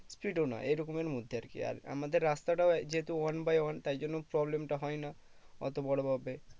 speed এও না এরকমের মধ্যে আর কি আর আমাদের রাস্তাটাও যেহুতু one by one তাই জন্য problem টা হয়ে না অত বড়ো ভাবে